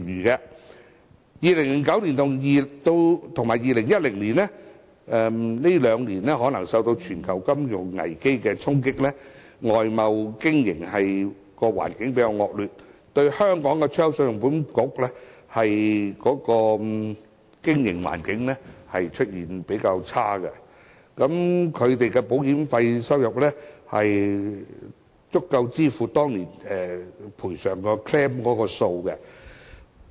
以2009年和2010年來說，可能這兩年因為受到全球金融危機的衝擊，外貿經營的環境較為惡劣，信保局的經營環境較差，保險費收入足以支付當年索償的數字。